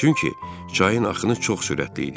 Çünki çayın axını çox sürətli idi.